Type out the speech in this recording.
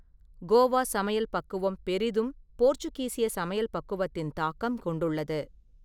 கோவா சமையல் பக்குவம் பெரிதும் போர்ச்சுகீசிய சமையல் பக்குவத்தின் தாக்கம் கொண்டுள்ளது.